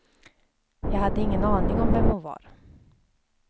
Jag hade ingen aning om vem hon var.